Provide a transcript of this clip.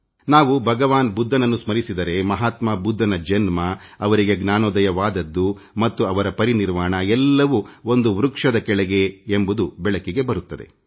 ನಾವು ಭಗವಾನ್ ಬುದ್ಧನನ್ನು ಸ್ಮರಿಸಿದರೆ ಮಹಾತ್ಮಾ ಬುದ್ಧನ ಜನ್ಮ ಅವನಿಗೆ ಜ್ಯಾನೋದಯವಾದದ್ದು ಮತ್ತು ಅವರ ಪರಿನಿರ್ವಾಣ ಎಲ್ಲವೂ ಒಂದು ವೃಕ್ಷದ ಕೆಳಗೆ ಎಂಬುದು ಬೆಳಕಿಗೆ ಬರುತ್ತದೆ